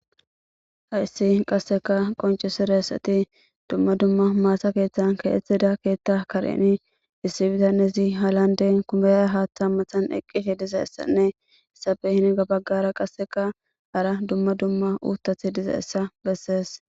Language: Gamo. hayssi qasseka qoncisiressati dumma dumma maasa keeththan kaethida keethta kareni issibitanezi halande kubeya haaththa mmathan eqqiti dizaessanne issafe hinga baggara qasseka hara dumma dumma uutath dizaessa bessees